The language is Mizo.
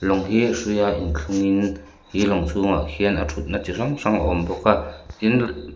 lawng hi a hrui a in thlung in khi lawng chhungah khian a thutna chi hrang hrang a awm bawk a tin--